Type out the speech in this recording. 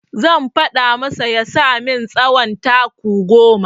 Zan faɗa masa ya saka min tsawon taku goma.